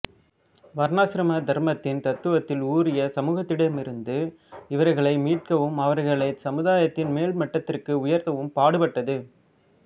வர்ணாசிரம தர்ம தத்துவத்தில் ஊறிய சமூகத்தினிடமிருந்து இவர்களை மீட்டெடுக்கவும் அவர்களை சமுதாயத்தின் மேல்மட்டத்திற்கு உயர்த்தவும் பாடுபட்டது